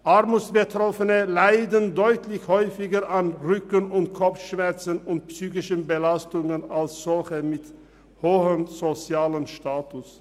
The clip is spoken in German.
Armutsbetroffene leiden deutlich häufiger an Rücken- und Kopfschmerzen sowie an psychischen Belastungen als solche mit hohem sozialem Status.